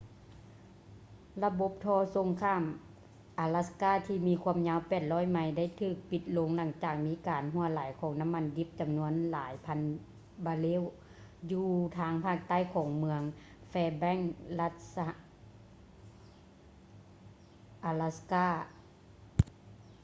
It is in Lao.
ລະບົບທໍ່ສົ່ງຂ້າມອາລັດສ໌ກ່າ ທີ່ມີຄວາມຍາວ 800 ໄມ ໄດ້ຖືກປິດລົງຫຼັງຈາກມີການຮົ່ວໄຫຼຂອງນ້ຳມັນດິບຈຳນວນຫຼາຍພັນບາເຣວ ຢູ່ທາງພາກໃຕ້ຂອງເມືອງ fairbanks ລັດອາລັດສ໌ກ່າ alaska